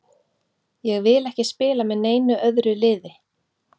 Ég vil ekki spila með neinu öðru liði.